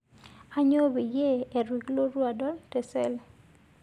Aanyo payie eitu kulotu adol teseel